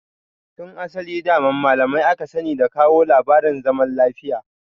Tun asali daman malamai aka sani da kawo labarin zaman lafiya